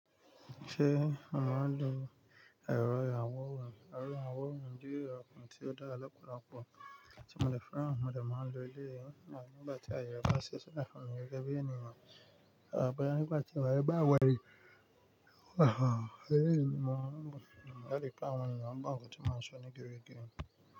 Ṣé mo màá ń lo ẹ̀rọ ìyàwóran? Ẹ̀rọ ìyàwóran jẹ́ ẹ̀rọ kan tí ó dára lọ́pọ̀lọpọ̀ tí mo dẹ̀ fẹ́ràn tí mo dẹ̀ máa ń lo eléyìí. Nígbà tí ayọ̀ bá ṣiṣẹ́ láti fún mi gẹ́gẹ́ bí ènìyàn àbá nígbà tí wàyé bá wàyé, wàháà. Òye mi máa ń gùn. Ọ̀pọ̀lọpọ̀ àwọn ènìyàn ń gbàǹkọ tí màá sọ ní gẹ́rẹ́ gẹ́rẹ́.